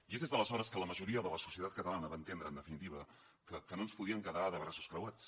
i és des d’aleshores que la majoria de la societat catalana va entendre en definitiva que no ens podíem quedar amb els braços creuats